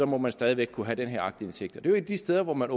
må man stadig væk kunne have den her aktindsigt et af de steder hvor man